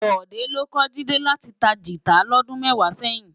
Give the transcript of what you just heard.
Bode ló kò Jide láti tá gitá lòdún mèfá sèyin